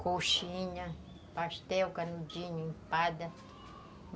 Coxinha, pastel, canudinho, empada.